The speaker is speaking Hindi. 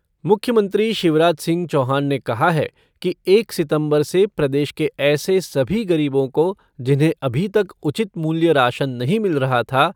मुख्यमंत्री शिवराज सिंह चौहान ने कहा है कि एक सितम्बर से प्रदेश के ऐसे सभी गरीबों को जिन्हें अभी तक उचित मूल्य राशन नहीं मिल रहा था।